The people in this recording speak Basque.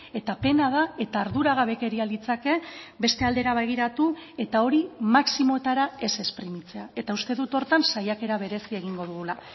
eta pena da eta arduragabekeria litzake beste aldera begiratu eta hori maximoetara ez esprimitzea eta uste dut horretan saiakera berezia egingo dugula